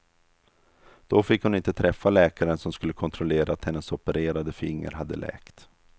Då fick hon inte träffa läkaren som skulle kontrollera att hennes opererade finger hade läkt.